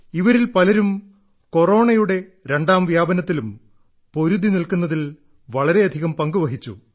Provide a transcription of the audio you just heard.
ഇവരിൽ പലരും കൊറോണയുടെ രണ്ടാം വ്യാപനത്തിലും പൊരുതി നിൽക്കുന്നതിൽ വളരെയധികം പങ്കുവഹിച്ചു